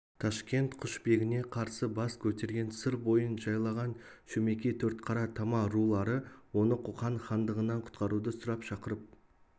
ташкент құшбегіне қарсы бас көтерген сыр бойын жайлаған шөмекей төртқара тама рулары оны қоқан хандығынан құтқаруды сұрап шақырып